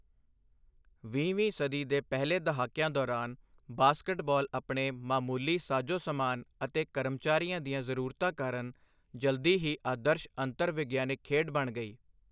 ਵੀਹਵੀਂ ਸਦੀ ਦੇ ਪਹਿਲੇ ਦਹਾਕਿਆਂ ਦੌਰਾਨ, ਬਾਸਕਟਬਾਲ ਆਪਣੇ ਮਾਮੂਲੀ ਸਾਜ਼ੋ ਸਮਾਨ ਅਤੇ ਕਰਮਚਾਰੀਆਂ ਦੀਆਂ ਜ਼ਰੂਰਤਾਂ ਕਾਰਨ ਜਲਦੀ ਹੀ ਆਦਰਸ਼ ਅੰਤਰ ਵਿਗਿਆਨਕ ਖੇਡ ਬਣ ਗਈ।